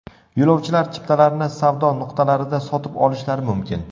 Yo‘lovchilar chiptalarni savdo nuqtalarida sotib olishlari mumkin.